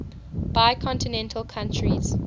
bicontinental countries